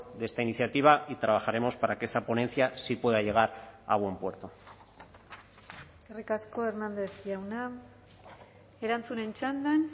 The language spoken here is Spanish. de esta iniciativa y trabajaremos para que esa ponencia sí pueda llegar a buen puerto eskerrik asko hernández jauna erantzunen txandan